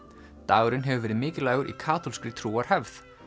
dagurinn hefur verið mikilvægur í kaþólskri trúarhefð